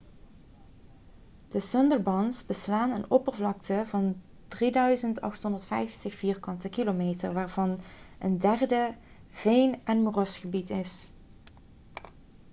de sundarbans beslaan een oppervlakte van 3.850 km² waarvan een derde veen- en moerasgebied is